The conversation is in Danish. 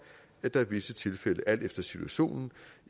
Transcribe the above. at der i visse tilfælde alt efter situationen